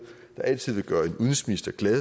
der altid vil gøre en udenrigsminister glad